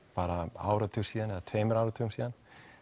áratug síðan eða tveimur áratugum síðan